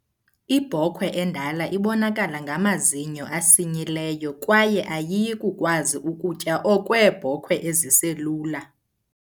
Ibhokhwe endala ibonakala ngamazinyo asinyileyo kwaye ayiyi kukwazi ubutya okweebhokwe eziselula.